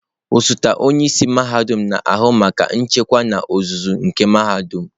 Osote onye isi mahadum na-ahụ maka nchịkwa n'ozuzu nke mahadum.